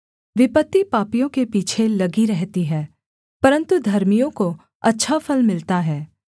विपत्ति पापियों के पीछे लगी रहती है परन्तु धर्मियों को अच्छा फल मिलता है